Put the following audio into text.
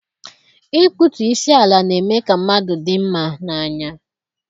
Ikputu isi ala na-eme ka mmadụ dị mma n'anya.